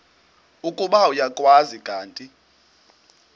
ukuba uyakwazi kanti